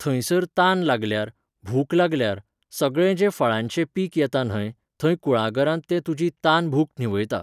थंयसर तान लागल्यार, भूक लागल्यार, सगळें जे फळांचें पीक येता न्हंय, थंय कुळागरांत ते तुजी तानभूक न्हिवयता